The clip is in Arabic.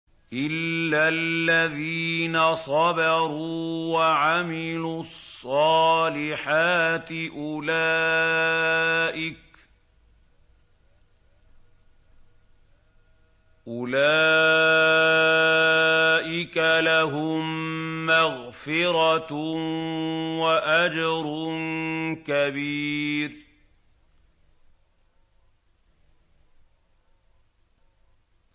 إِلَّا الَّذِينَ صَبَرُوا وَعَمِلُوا الصَّالِحَاتِ أُولَٰئِكَ لَهُم مَّغْفِرَةٌ وَأَجْرٌ كَبِيرٌ